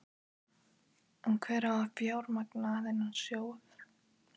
En hver á að fjármagna þennan sjóð?